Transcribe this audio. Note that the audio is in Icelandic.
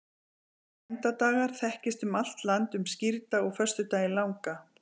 orðið bænadagar þekkist um allt land um skírdag og föstudaginn langa